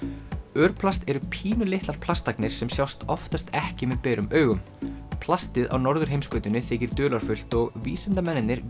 örplast eru pínulitlar plastagnir sem sjást oftast ekki með berum augum plastið á norðurheimskautinu þykir dularfullt og vísindamennirnir